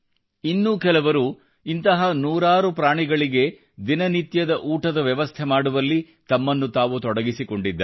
ಇನ್ನು ಕೆಲವರು ಇಂತಹ ನೂರಾರು ಪ್ರಾಣಿಗಳಿಗೆ ದಿನ ನಿತ್ಯದ ಊಟದ ವ್ಯವಸ್ಥೆ ಮಾಡುವಲ್ಲಿ ತಮ್ಮನ್ನು ತಾವು ತೊಡಗಿಸಿಕೊಂಡಿದ್ದಾರೆ